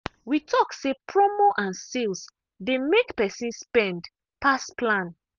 we talk say promo and sales dey make person spend pass plan.